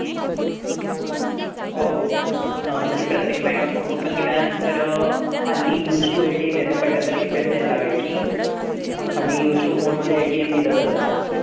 ओ normally प्रत्येक bank account open केल्यानंतर हल्ली use to ATM येतं. पहिल्यांदा request द्यायला लागायची. हल्ली use to mode मध्ये ATM दिलं जातं.